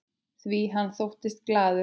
Því hann þóttist líka glaður.